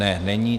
Ne, není.